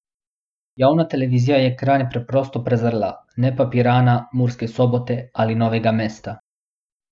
Javna televizija je Kranj preprosto prezrla, ne pa Pirana, Murske Sobote ali Novega mesta.